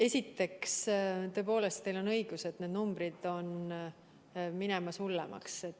Esiteks, tõepoolest, teil on õigus, et need numbrid on minemas hullemaks.